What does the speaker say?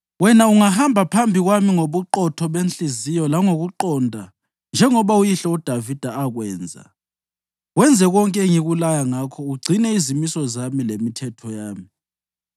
Wena, ungahamba phambi kwami ngobuqotho benhliziyo langokuqonda njengoba uyihlo uDavida akwenza, wenze konke engikulaya ngakho ugcine izimiso zami lemithetho yami,